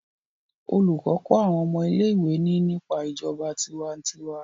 olùkó kó awọn ọmọ ilé ìwé ní nípa ìjọba tiwantiwa